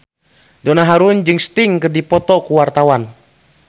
Donna Harun jeung Sting keur dipoto ku wartawan